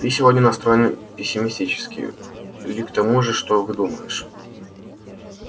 ты сегодня настроен пессимистически ли к тому же что выдумываешь